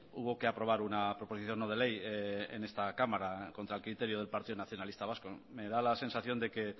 hubo que aprobar una proposición no de ley en esta cámara contra el criterio del partido nacionalista vasco me da la sensación de que